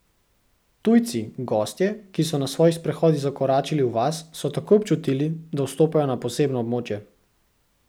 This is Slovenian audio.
Tujci, gostje, ki so na svojih sprehodih zakoračili v vas, so takoj občutili, da vstopajo na posebno območje.